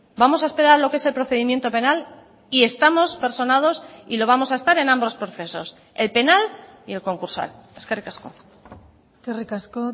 vamos a esperar lo que es el procedimiento penal y estamos personados y lo vamos a estar en ambos procesos el penal y el concursal eskerrik asko eskerrik asko